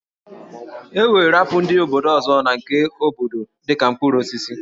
E weere apụl ndị mba ọzọ na nke obodo dị ka mkpụrụ osisi